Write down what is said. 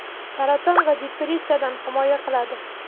saraton va depressiyadan himoya qiladi.